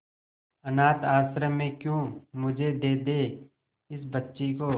अनाथ आश्रम में क्यों मुझे दे दे इस बच्ची को